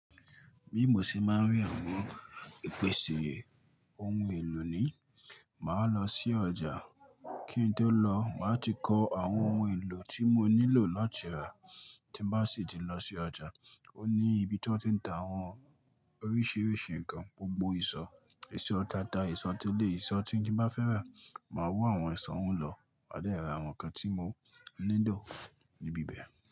Bí mo ṣe máa ń rí àwọn ìpèsè ohun èlò ni, màá lọ sí ọjà. Kí n tó lọ, màá ti kọ àwọn ohun èlò tí mo nílò láti rà. Ti n ba si ti lo si oja, o ni ibi ti won ti n ta awon orisirisi nkan gbogbo iso, iso t'ata, iso teleyi, iso ti oun ti n ba f'era. Máa wọ̀ àwọn iṣò ouń lọ, maa de ra àwọn nǹkan tí mo nílò níbi bẹ̀.